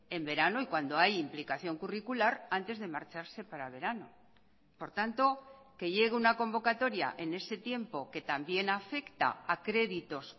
en verano y cuando hay implicación curricular antes de marcharse para verano por tanto que llegue una convocatoria en ese tiempo que también afecta a créditos